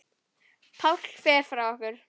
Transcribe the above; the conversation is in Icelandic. Páll fer frá okkur.